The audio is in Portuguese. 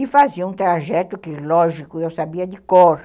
E fazia um trajeto que, lógico, eu sabia de cor.